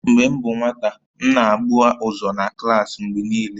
Mgbe m bụ nwata, m na-agba ụzọ na klaasị mgbe niile